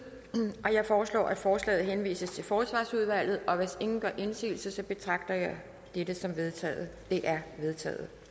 jeg foreslår at forslaget henvises til forsvarsudvalget hvis ingen gør indsigelse betragter jeg dette som vedtaget det er vedtaget